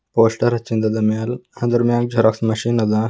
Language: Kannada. ಪೋಸ್ಟರ್ ಹಚ್ಚಿಂದದ ಮ್ಯಾಲ್ ಅದರ ಮ್ಯಾಲ್ ಜೆರಾಕ್ಸ್ ಮೆಷಿನ್ ಅದ.